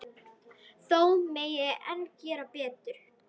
Þó megi enn gera betur.